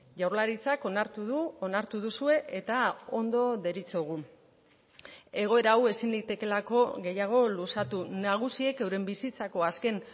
jaurlaritzak onartu du onartu duzue eta ondo deritzogu egoera hau ezin litekeelako gehiago luzatu nagusiek euren bizitzako azken